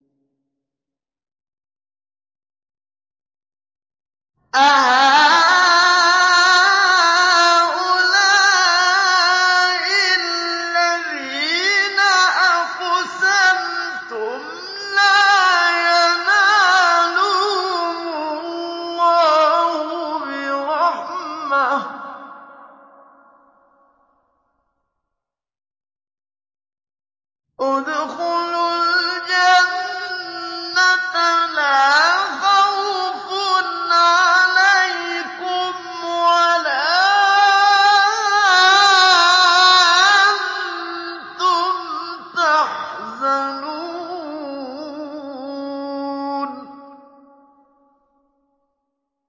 أَهَٰؤُلَاءِ الَّذِينَ أَقْسَمْتُمْ لَا يَنَالُهُمُ اللَّهُ بِرَحْمَةٍ ۚ ادْخُلُوا الْجَنَّةَ لَا خَوْفٌ عَلَيْكُمْ وَلَا أَنتُمْ تَحْزَنُونَ